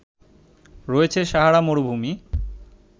রয়েছে সাহারা মরুভূমি